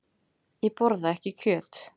Ég borða ekki kjöt.